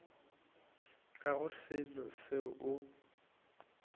ga go selo seo o